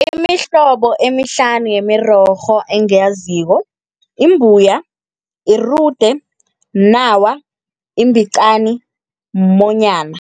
Imihlobo emihlanu yemirorho engiyaziko, imbuya, irude, mnawa, imbicani, mumonyana.